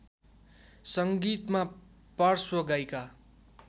सङ्गीतमा पार्श्व गायिका